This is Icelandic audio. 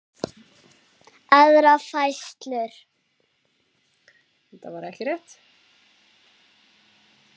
aðra færslu.